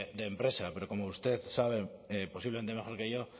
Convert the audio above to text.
de empresa pero como usted sabe posiblemente mejor que yo